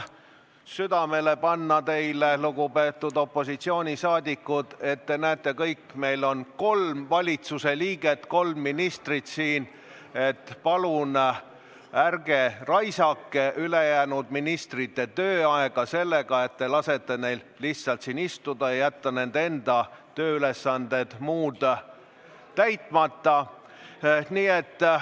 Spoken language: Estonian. Aga ma panen teile, lugupeetud opositsiooni liikmed, südamele: te näete kõik, et meil on siin kolm valitsusliiget, kolm ministrit, palun ärge raisake ministrite tööaega sellega, et te lasete neil lihtsalt siin istuda, nii et nende muud tööülesanded jäävad täitmata.